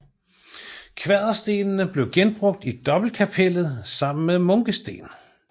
Kvaderstenene blev genbrugt i dobbeltkapellet sammen med munkesten